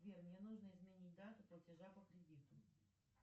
сбер мне нужно изменить дату платежа по кредиту